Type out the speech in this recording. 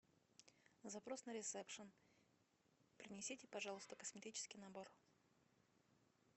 запрос на ресепшн принесите пожалуйста косметический набор